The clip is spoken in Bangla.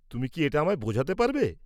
তুমি কি এটা আমায় বোঝাতে পারবে?